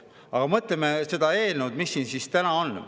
Aga mõtleme selle eelnõu peale, mis siin täna on.